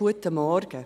Guten Morgen.